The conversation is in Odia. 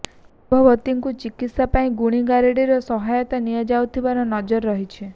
ଗର୍ଭବତୀଙ୍କୁ ଚିକିତ୍ସା ପାଇଁ ଗୁଣିଗାରେଡିର ସହାୟତା ନିଆଯାଉଥିବାର ନଜିର୍ ରହିଛି